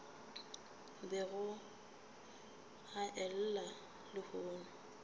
bego a e llela lehono